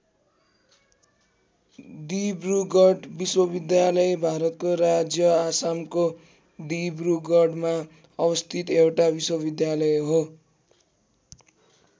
दिब्रुगढ विश्वविद्यालय भारतको राज्य आसामको डिब्रुगढमा अवस्थित एउटा विश्वविद्यालय हो।